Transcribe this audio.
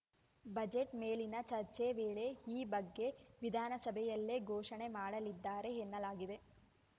budget ಮೇಲಿನ ಚರ್ಚೆ ವೇಳೆ ಈ ಬಗ್ಗೆ ವಿಧಾನಸಭೆಯಲ್ಲೇ ಘೋಷಣೆ ಮಾಡಲಿದ್ದಾರೆ ಎನ್ನಲಾಗಿದೆ